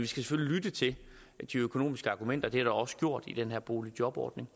selvfølgelig lytte til de økonomiske argumenter det er der også gjort ved den her boligjobordning